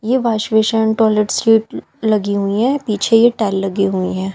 ये washbasin toilet seat लगी हुई है पीछे ये टाइल लगी हुई है।